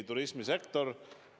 Turismisektor.